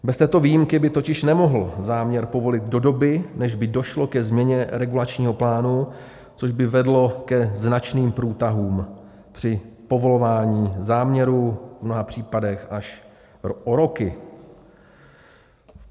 Bez této výjimky by totiž nemohl záměr povolit do doby, než by došlo ke změně regulačního plánu, což by vedlo ke značným průtahům při povolování záměrů, v mnoha případech až o roky.